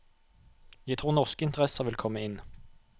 Jeg tror norske interesser vil komme inn.